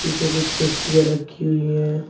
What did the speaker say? पीछे कुछ पट्टियां रखी हुई हैं।